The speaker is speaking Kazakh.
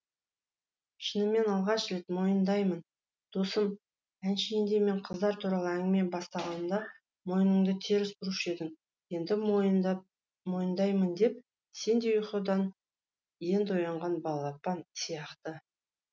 шынымен алғаш рет мойындаймын досым әншейінде мен қыздар туралы әңгіме бастағанымда мойныңды теріс бұрушы едің енді мойындаймын деп сенде ұйқыдан енді оянған балапан сияқты